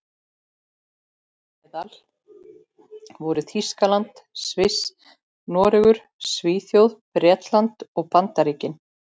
Þeirra á meðal voru Þýskaland, Sviss, Noregur, Svíþjóð, Bretland og Bandaríkin.